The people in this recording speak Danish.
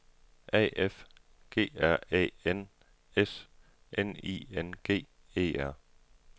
A F G R Æ N S N I N G E R